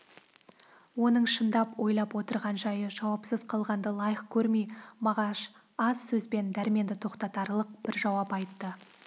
оның шындап ойлап отырған жайы жауапсыз қалғанды лайық көрмей мағаш аз сөзбен дәрменді тоқтатарлық бір жауап айтты